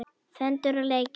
Föndur og leikir.